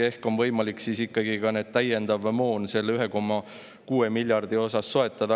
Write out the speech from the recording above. Ehk on siis ikkagi võimalik see täiendav moon 1,6 miljardi euro eest soetada.